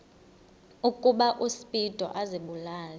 ukuba uspido azibulale